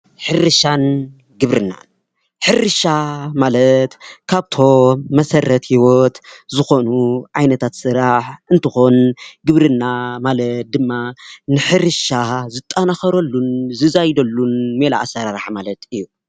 ሕርሻን ግብርናን: ሕርሻ ማለት ካብቶም መሰረት ህይወት ዝኾኑ ዓይነታት ስራሕ እንትኾን ግብርና ማለት ድማ ንሕርሻ ዝጠናኸረሉን ዝዛይደሉን ሜላ ኣሰራርሓ ማለት እዩ።